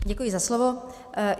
Děkuji za slovo.